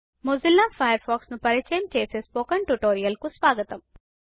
Mozilla Firefox ను పరచయం చేసే స్పోకెన్ ట్యుటోరియల్ కు స్వాగతం